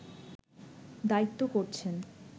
দায়িত্ব করছেন